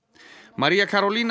María